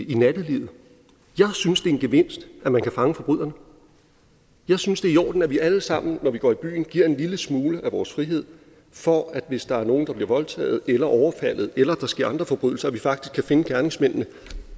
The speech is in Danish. i nattelivet jeg synes det er en gevinst at man kan fange forbryderne jeg synes det er i orden at vi alle sammen når vi går i byen giver en lille smule af vores frihed for at vi hvis der er nogle der bliver voldtaget eller overfaldet eller der sker andre forbrydelser faktisk kan finde gerningsmændene